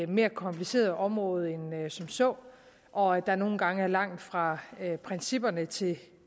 mere kompliceret område end som så og at der nogle gange er langt fra principperne til